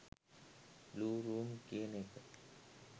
blue room කියන එක